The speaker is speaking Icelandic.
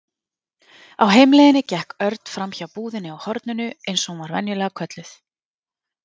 Á heimleiðinni gekk Örn framhjá búðinni á horninu eins og hún var venjulega kölluð.